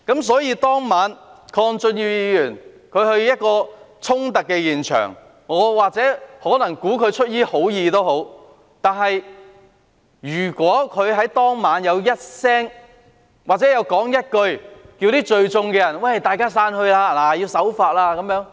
鄺俊宇議員當晚前往衝突現場，我估計他或許是出於好意，但如果他當晚曾說一聲，請聚集的人散開和守法......